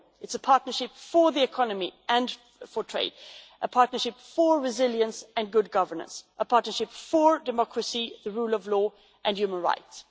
but a partnership for the economy and for trade, a partnership for resilience and good governance, a partnership for democracy, the rule of law and human rights.